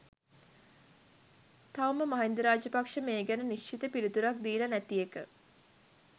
තවම මහින්ද රාජපක්ෂ මේ ගැන නිශ්චිත පිළිතුරක් දීලා නැති එක.